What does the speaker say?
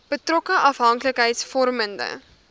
betrokke afhanklikheids vormende